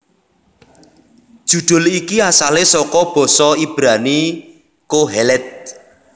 Judul iki asalé saka basa Ibrani Qoheleth